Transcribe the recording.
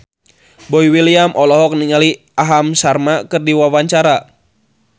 Boy William olohok ningali Aham Sharma keur diwawancara